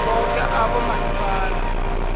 kibo boke abomasipala